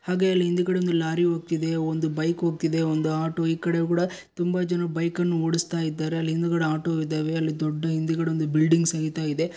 ಹಾಗೆ ಅಲ್ ಹಿಂದ್ಗಡೆ ಒಂದು ಲಾರಿ ಓಗ್ತಿದೆ ಒಂದು ಬೈಕ್ ಓಗ್ತಿದೆ ಒಂದು ಆಟೋ ಈಕಡೆ ಕೂಡ ತುಂಬಾ ಜನರು ಬೈಕ್ ಅನ್ನು ಓಡುಸ್ತಾ ಇದ್ದಾರೆ ಅಲ್ ಹಿಂದ್ಗಡೆ ಆಟೋ ಇದಾವೆ ಅಲ್ ದೊಡ್ದು ಹಿಂದ್ಗಡೆ ಒಂದು ಬಿಲ್ಡಿಂಗ್ ಸಹಿತ ಇದೆ.